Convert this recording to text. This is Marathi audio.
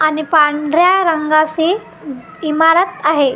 आणि पांढऱ्या रंगाची इमारत आहे .